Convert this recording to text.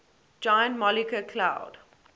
giant molecular cloud